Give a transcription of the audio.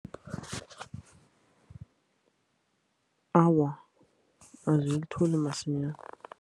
Awa, azilitholi masinyana.